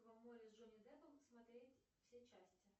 с джонни деппом смотреть все части